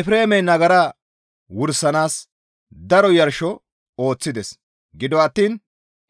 «Efreemey nagara wursanaas daro yarshosoho ooththides; gido attiin